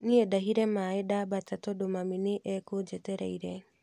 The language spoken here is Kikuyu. Niĩ ndahire maĩ ndabata tondũ mami nĩ ekũnjetereire